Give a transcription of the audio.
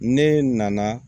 Ne nana